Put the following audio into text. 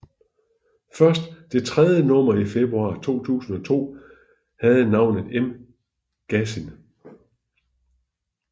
Først det tredje nummer i februar 2002 havde navnet M gasin